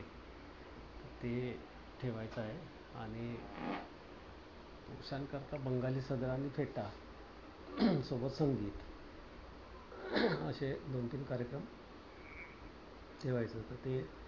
ते एक ठेवायचं आहे. आणि मस्तानी करिता बंगाली सदरा आणि फेटा हम्म आणि सोबत संगीत असे दोन तीन कार्यक्रम ठेवायचं कि